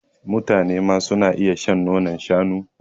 mutanema suna iya shan nonon shanu